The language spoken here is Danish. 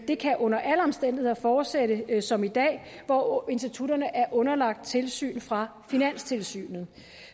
det kan under alle omstændigheder fortsætte som i dag hvor institutterne er underlagt tilsyn fra finanstilsynet